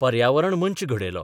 पर्यावरण मंच घडयलो.